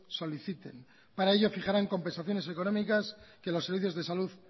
soliciten para ello fijarán compensaciones económicas que los servicios de salud